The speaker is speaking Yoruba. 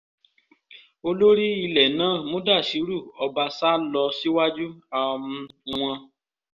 olórí ilẹ̀ náà mudashiru ọbásà lọ síwájú um wọn